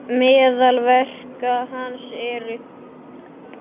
Meðal verka hans eru